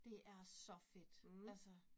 Det er så fedt. Altså